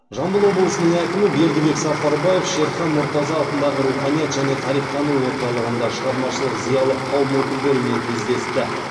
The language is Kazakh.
жамбыл облысының әкімі бердібек сапарбаев шерхан мұртаза атындағы руханият және тарихтану орталығында шығармашылық зиялы қауым өкілдерімен кездесті